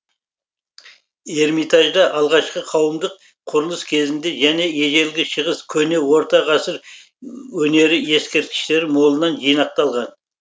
эрмитажда алғашқы қауымдық құрылыс кезінде және ежелгі шығыс көне орта ғасыр өнері ескерткіштері молынан жинақталған